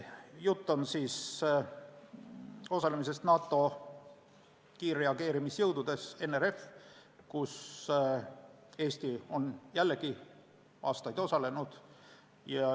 Jutt käib praegu osalemisest NATO kiirreageerimisjõududes NRF, kus Eesti on jällegi aastaid osalenud.